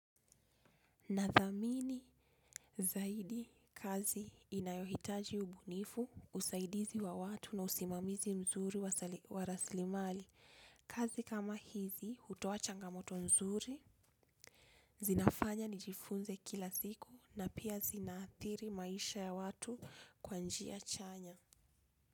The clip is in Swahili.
Nathamini zaidi kazi inayohitaji ubunifu, usaidizi wa watu na usimamizi mzuri wa raslimali. Kazi kama hizi, utoa changamoto mzuri, zinafanya nijifunze kila siku na pia zinathiri maisha ya watu kwa njia chanya.